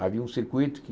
Havia um circuito que